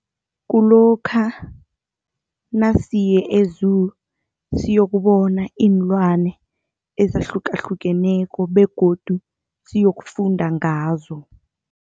Kulokha nasiye e-Zoo siyokubona iinlwane ezahlukahlukeneko begodu siyokufunda ngazo.